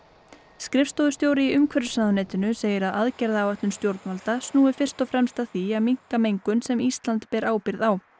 skrifstofustjóri í umhverfisráðuneytinu segir að aðgerðaáætlun stjórnvalda snúi fyrst og fremst að því að minnka mengun sem Ísland ber ábyrgð á